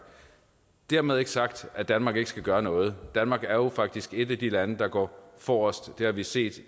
dermed ikke sagt at danmark ikke skal gøre noget danmark er jo faktisk et af de lande der går forrest det har vi set